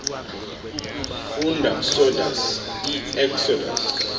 funda ksodus ieksodus